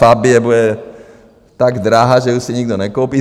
Fabie bude tak drahá, že už si ji nikdo nekoupí.